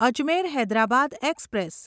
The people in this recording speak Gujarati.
અજમેર હૈદરાબાદ એક્સપ્રેસ